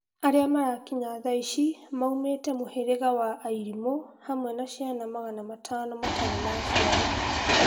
Arĩa marakinya thaici maumetĩ mũherega wa airimo hamwe na ciana magana matano matari na aciari